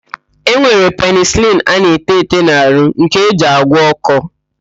E nwere penịsịlịn a na-ete ete n'arụ nke eji agwọ ọ́kọ́.